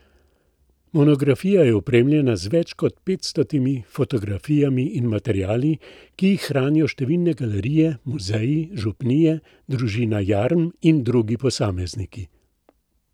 Monografija je opremljena z več kot petstotimi fotografijami in materiali, ki jih hranijo številne galerije, muzeji, župnije, družina Jarm in drugi posamezniki.